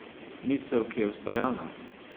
Misel, ki je ustvarjalna?